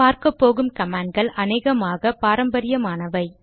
பார்க்கப்போகும் கமாண்ட்கள் அநேகமாக பாரம்பரியமானவை